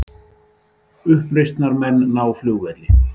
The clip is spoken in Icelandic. Uppreisnarmenn ná flugvelli